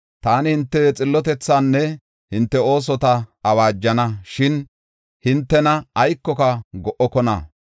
Taani hinte xillotethaanne hinte oosota awaajana; shin hintena aykoka go77okona.